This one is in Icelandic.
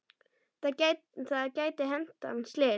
Það gæti hent hann slys.